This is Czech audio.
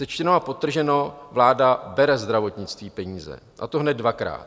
Sečteno a podtrženo, vláda bere zdravotnictví peníze, a to hned dvakrát.